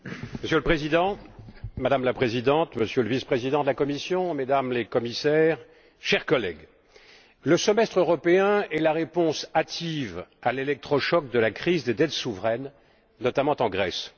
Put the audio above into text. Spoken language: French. Monsieur le Président, Madame la Présidente, Monsieur le Vice président de la Commission, Mesdames les Commissaires, chers collègues, le semestre européen est la réponse hâtive à l'électrochoc de la crise des dettes souveraines, notamment en Grèce.